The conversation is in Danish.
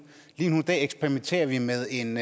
lige nu eksperimenterer vi med en